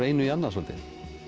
einu annað svolítið